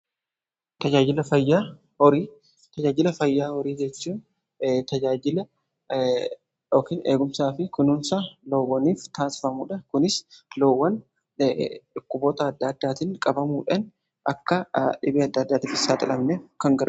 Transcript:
Tajaajila fayyaa horii: Tajaajila fayyaa horii jechuun tajaajila yookiin eegumsaa fi kunuunsa loowwaniif taasifamudha. Kunis loowwan dhukkuboota adda addaatiin qabamuudhan akka dhibee adda addaatiif hin saaxilamne gargaara.